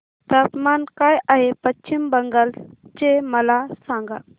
तापमान काय आहे पश्चिम बंगाल चे मला सांगा